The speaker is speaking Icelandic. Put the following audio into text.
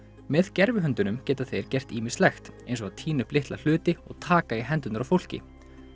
með geta þeir gert ýmislegt eins og að tína upp litla hluti og taka í hendurnar á fólki